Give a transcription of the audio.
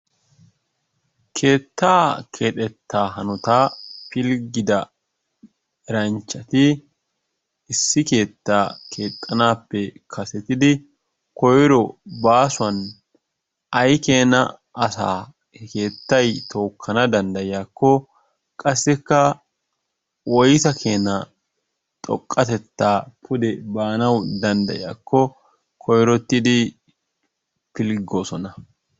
Keettaa kexxetaa hanottaa pilggida eranchchati issi keettaa keexxanappe kasettidi koiro baasuwan aykkeenasa keettay tookkana danddayiyaakko qasikka woyssa keenaa xoqqatettaa baana danddayiyakko koirottidi pilggosona.